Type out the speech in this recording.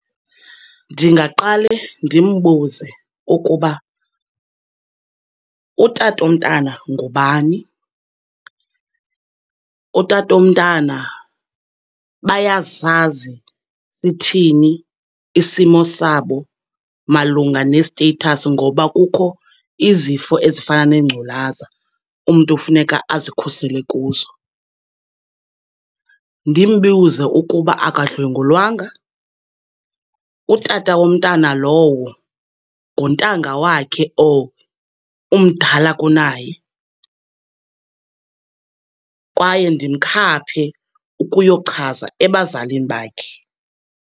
Ndingaqale ndimbuze ukuba utata omntana ngubani, utata omntana, bayasazi sithini isimo sabo malunga ne-status ngoba kukho izifo ezifana nengculaza umntu funeka azikhusele kuzo. Ndimbuze ukuba akadlwengulwanga, utata womntana lowo nguntanga wakhe or umdala kunaye, kwaye ndimkhaphe ukuyochaza ebazalini bakhe.